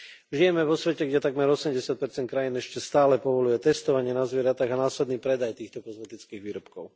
Žijeme vo svete, kde takmer 80 krajín ešte stále povoľuje testovanie na zvieratách a následný predaj týchto kozmetických výrobkov.